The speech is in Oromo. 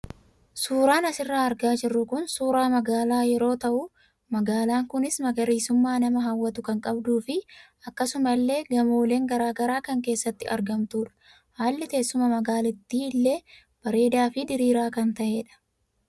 Suuraan asirraa argaa jirru kun suuraa magaalaa yeroo tahu magaalaan kunis magariisummaa nama hawwatu kan qabduu fi akkasuma illee gamooleen garaagaraa kan keessatti argamtudha. Haalli teessuma magaalatti illee bareedaa fi diriiraa kan tahedha.